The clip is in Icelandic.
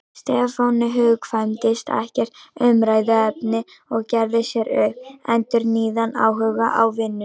Stefáni hugkvæmdist ekkert umræðuefni og gerði sér upp endurnýjaðan áhuga á vinnunni.